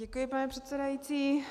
Děkuji, pane předsedající.